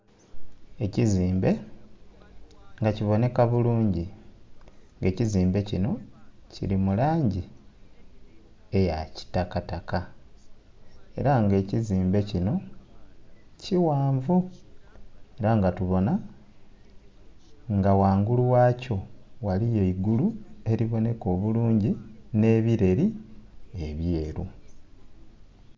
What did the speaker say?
Ekizimbe nga kibonheka bulungi nga ekizimbe kino kiri mu langi eya kitakataka era nga ekizimbe kino kighanvu era nga tubona nga ghangulu gha kyo ghaliyo eigulu eri bonheka obulungi ne'ebireeri ebyeeru.